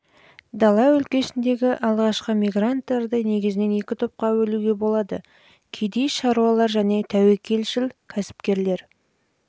дала өлкесіндегі алғашқы мигранттарды негізінен екі топқа бөлуге болады кедей-шаруалар және тәуекелшіл кәсіпкерлер